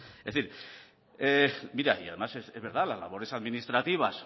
es decir mira y además es verdad las labores administrativas